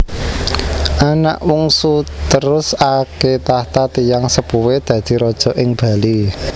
Anak Wungsuterus ake tahta tiyang sepuhé dadi raja ing Bali